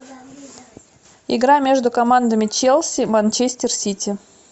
игра между командами челси манчестер сити